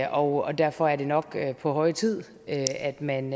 og derfor er det nok på høje tid at at man